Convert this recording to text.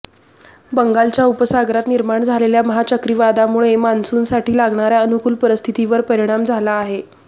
बंगालच्या उपसागरात निर्माण झालेल्या महाचक्रीवादळामुळे मान्सूनसाठी लागणाऱ्या अनुकूल परिस्थितीवर परिणाम झाला आहे